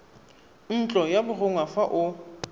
ntlo ya borongwa fa o